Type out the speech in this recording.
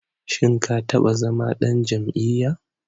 Shim ka taɓa zama ɗan jam'iyya?